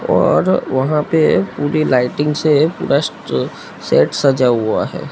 और वहां पे पूरी लाइटिंग से बस शेड सजा हुआ है।